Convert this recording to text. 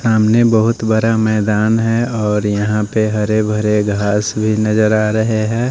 सामने बहुत बड़ा मैदान है और यहां पे हरे भरे घास भी नजर आ रहे हैं।